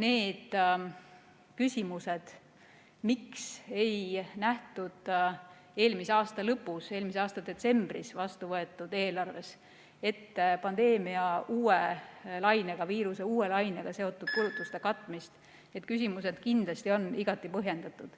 need küsimused, miks ei nähtud eelmise aasta lõpus, eelmise aasta detsembris vastu võetud eelarves ette pandeemia uue lainega, viiruse uue lainega seotud kulutuste katmist, need küsimused on kindlasti igati põhjendatud.